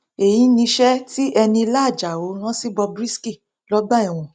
èyí niṣẹ tí enílá àjàò rán sí bob risky lọgbà ẹwọn